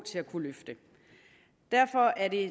til at kunne løfte derfor er det